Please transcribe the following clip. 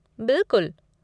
बिलकुल!